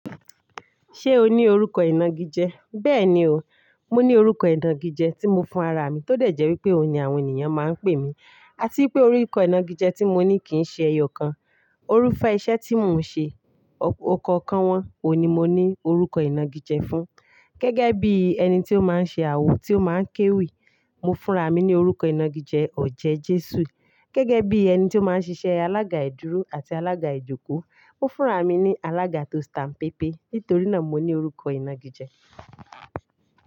Ṣé o ní orúkọ ìnagijẹ? Bẹ́ẹ̀ ni o, mo ní orúkọ ìnagijẹ tí mo fún ara mi tó dẹ̀jẹ̀ wípé òun ni àwọn ènìyàn máa ń pè mí. A tí pé orúkọ ìnagijẹ tí mo ní kì í ṣe ẹyọ kan. Orúfẹ́ iṣẹ́ tí mò ń ṣe, ọkọ̀ kan wọ́n, òun ni mo ní orúkọ ìnagijẹ fún. Gẹ́gẹ́ bí ẹni tí ó máa ń ṣe àwo, tí ó máa ń kéwì, mo fúnra mi ní orúkọ ìnagijẹ, "Ọ̀jẹ́ Jésù". Gẹ́gẹ́ bí ẹni tí ó máa ń ṣiṣẹ́ alága ìdúró àti alága ìjókòó, mó fúnra mi ní alága tó staǹpépè. Nítorí náà, mo ní orúkọ ìnagijẹ.